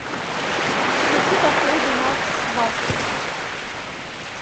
включи по фрейду макс барских